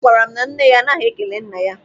Ọ gwara m na nne ya anaghị ekele nna ya.